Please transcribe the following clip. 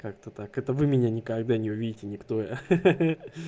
как-то так это вы меня никогда не увидите никто